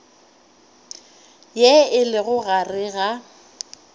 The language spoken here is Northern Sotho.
ye e lego gare ga